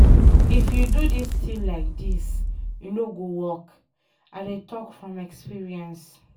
If you do dis thing like dis,e no go work, I dey talk from experience.